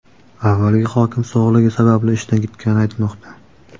Avvalgi hokim sog‘lig‘i sabab ishdan ketgani aytilmoqda.